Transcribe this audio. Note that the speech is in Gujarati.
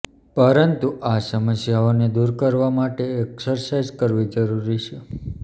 પરંતુ આ સમસ્યાને દૂર કરવા માટે એક્સરસાઇઝ કરવી જરૂરી છે